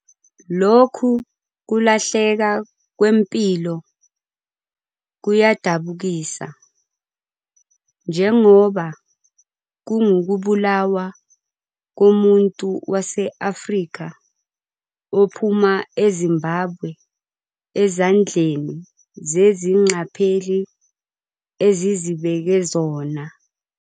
Lokhu kulahleka kwempilo kuyadabukisa, njengoba kungukubulawa komuntu wase-Afrika ophuma eZimbabwe ezandleni zezingqapheli ezizibeke zona.